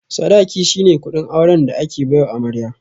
Sadaƙi shine kuɗin auren da ake baiwa amarya.